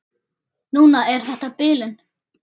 Núna er þetta bilun.